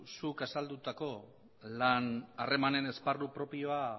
zuk azaldutako lan harremanen esparru propioa